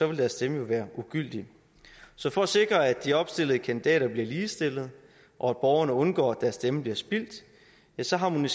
vil deres stemme jo være ugyldig så for at sikre at de opstillede kandidater bliver ligestillet og at borgerne undgår at deres stemme bliver spildt ja så harmonerer